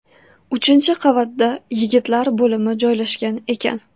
Uchinchi qavatda yigitlar bo‘limi joylashgan ekan.